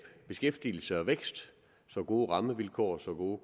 beskæftigelse og vækst så gode rammevilkår og så